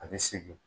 A bɛ segin